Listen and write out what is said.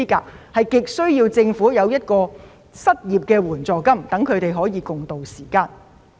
所以，他們急需政府提供失業援助金，一起共渡時艱。